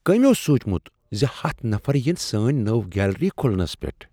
کٔمۍ اوس سونٛچمُت زِ ہَتھ نفر یِن سٲنۍ نٔو گیلری کُھلنس پیٹھ۔